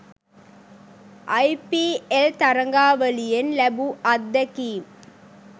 අයි P L තරගාවලියෙන් ලැබු අත්දැකීම්